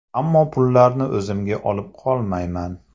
Ammo pullarni o‘zimga olib qolmayman.